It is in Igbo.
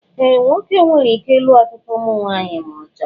Ee, nwoke nwere ike ịlụ ọtụtụ ụmụnwaanyị ma ọ chọọ